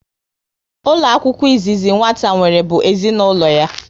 Ụlọ akwụkwọ izizi nwata nwere bụ ezinaụlọ ya